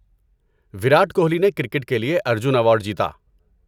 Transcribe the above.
وراٹ کوہلی نے کرکٹ کے لیے ارجن ایوارڈ جیتا۔